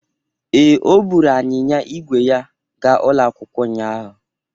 Ee, o buru anyịnya ígwè ya gaa ụlọ akwụkwọ ụnyahụ.